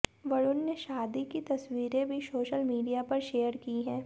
वरुण ने शादी की तस्वीरें भी सोशल मीडिया पर शेयर की हैं